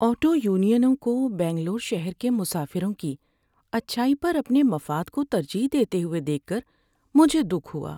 Auto یونینوں کو بنگلور شہر کے مسافروں کی اچھائی پر اپنے مفاد کو ترجیح دیتے ہوئے دیکھ کر مجھے دُکھ ہوا۔